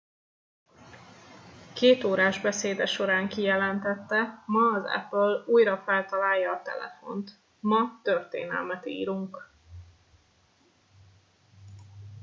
kétórás beszéde során kijelentette ma az apple újra feltalálja a telefont ma történelmet írunk